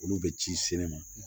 Olu bɛ ci sɛnɛ ma